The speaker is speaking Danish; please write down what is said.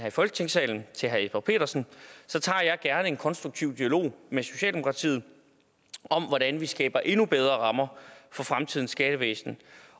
i folketingssalen til herre jesper petersen tager jeg gerne en konstruktiv dialog med socialdemokratiet om hvordan vi skaber endnu bedre rammer for fremtidens skattevæsen